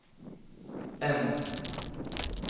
M